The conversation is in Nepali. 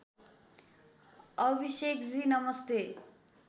अभिषेकजी नमस्ते